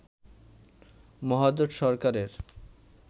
মহাজোট সরকারের